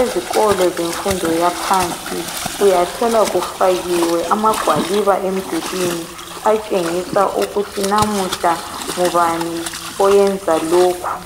ezikolo zemfundo yaphansi uyathola kufakiwe amagwaliba emdulwini atshengisa ukuthi namuhla ngubani oyenza lokhu.